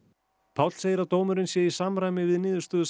Páll segir að dómurinn sé í samræmi við niðurstöðu